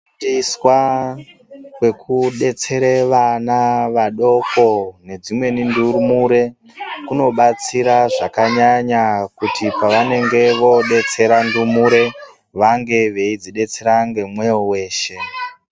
Teswa kwekudetsere vana vadoko nedzimweni ndumure kunobatsira zvakanyanya kuti pavanenge vodetsera ndumure vanenge veidzidetsera ngemwoto weshe.